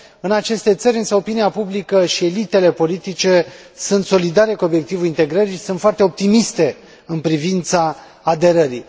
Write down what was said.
În aceste țări, însă, opinia publică și elitele politice sunt solidare cu obiectivul integrării și sunt foarte optimiste în privința aderării.